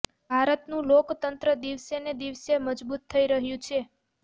ભારતનું લોકતંત્ર દિવસે ને દિવસે મજબૂત થઈ રહ્યું છે